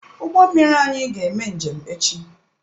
Ụgbọ mmiri anyị ga-eme njem echi.